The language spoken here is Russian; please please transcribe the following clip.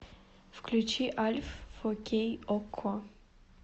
включи альф фо кей окко